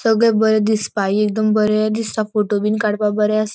सगळे बरे दिसपाय एकदम बरे दिसता. फोटो बिन काड़पाक बरे आस --